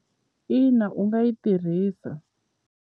Ina u nga yi tirhisa.